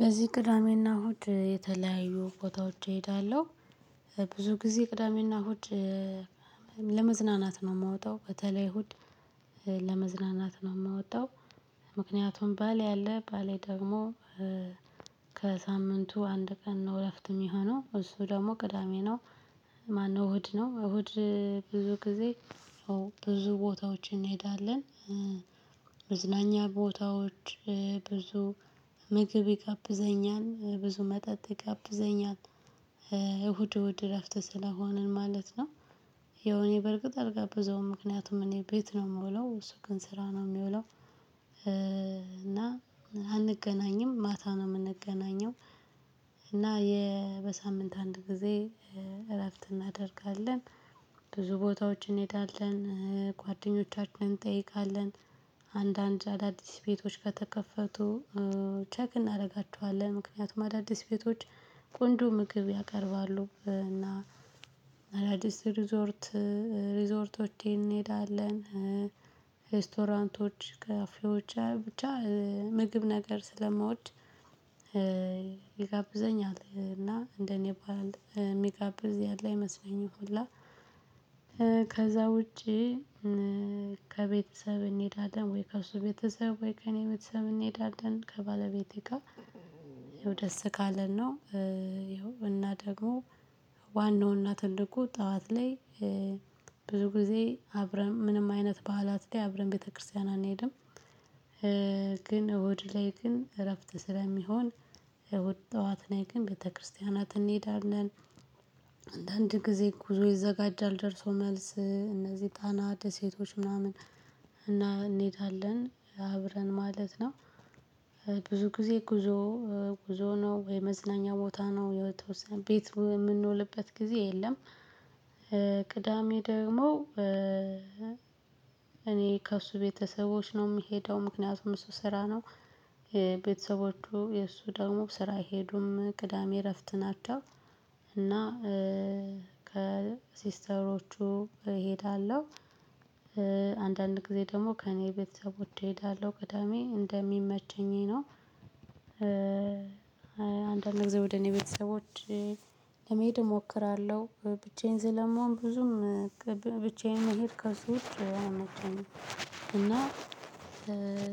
በዚህ ቅዳሜና እሁድ የተለያዩ ቦታዎች እሄዳለሁ። ብዙ ጊዜ ቅዳሜና እሁድ ለመዝናናት ነው የማወጣው በተለይ እሁድ ለመዝናናት ነው የምወጣው። ምክንያቱም ባሌ ያለ ባሌ ደግሞ ከሳምንቱ አንድ ቀን ነው እረፍት የሚሆነው እሱ ደግሞ ቅዳሜ ነው። ማነው እሁድ ነው እሁድ ብዙ ጊዜ ብዙ ቦታዎችን እንሄዳለን። መዝናኛ ቦታዎች ብዙ ምግብ ይጋብዘኛል ብዙ መጠጥ ይጋብዘኛል። እሁድ እሁድ እረፍት ስለሆንን ማለት ነው። የው እኔ በርግጥ አልጋበዘውም ምክንያቱም እኔ ቤት ነው የምውለው እሱ ግን ስራ ነው የሚውለው። እና አንገናኝም ማታ ነው የምንገናኘው። እና በሳምንት አንድ ጊዜ እረፍት እናደርጋለን። ብዙ ቦታዎችን እንሄዳለን ጓደኞቻችንን እንጠይቃለን። አንዳንድ አዳዲስ ቤቶች ከተከፈቱ ቼክ እናደርጋቸዋለን። ምክንያቱም አዳዲስ ቤቶች ቆንጆ ምግብ ያቀርባሉ። እና አዳዲስ ሪዞርት ሪዞርቶችን እንሄዳለን። ሬስቶራንቶች ካፌዎች ብቻ ምግብ ነገር ስለማወድ። ይጋብዘኛል እና እንደኔ ባል ሚጋብዝ ያለ አይመስለኝም ሁላ። ከዛ ውጪ። ከቤተሰብ እንሄዳለን ወይ ከእሱ ቤተሰብ ወይ ከእኔ ቤተሰብ እንሄዳለን ከባለቤቴ ጋር። ይኸው ደስ ካለን ነው። ይሀው እና ደግሞ ዋናው እናት እንደሆነ ጠዋት ላይ ብዙ ጊዜ አብረን ምንም አይነት ባኣላት ላይ አብረን ቤተክርስቲያን አንሄድም። እሁድ ላይ ግን እረፍት ስለሚሆን እሁድ ጠዋት ነው ግን ቤተክርስቲያናትን እንሄዳለን። አንዳንድ ጊዜ ጉዞ ይዘጋጃል ደርሶ መልስ እነዚህ ጣና ደሴቶች ምናምን እና እንሄዳለን አብረን ማለት ነው። ብዙ ጊዜ ጉዞ ጉዞ ነው ወይ መዝናኛ ቦታ ነው የተወሰነ ቤት የምንውልበት ጊዜ የለም። ቅዳሜ ደግሞ እኔ ከእሱ ቤተሰቦች ነው የምሄደው ምክንያቱም እሱ ስራ ነው ቤተሰቦቹ የእሱ ደግሞ ስራ አይሄዱም ቅዳሜ እረፍት ናቸው። እና ከሲስተሮቹ እሄዳለው። አንዳንድ ጊዜ ደግሞ ከእኔ ቤተሰቦች እሄዳለሁ ቅዳሜ እንደሚመቸኝ ነው። አንዳንድ ጊዜ ወደ እኔ ቤተሰቦች ለመሄድ እሞክራለሁ። ብቻዬን ስለምሆን ብዙም ብቻዬን መሄሄድ ከሱ ውጭ እና